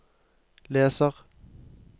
leser